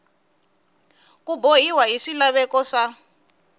ku bohiwa hi swilaveko swa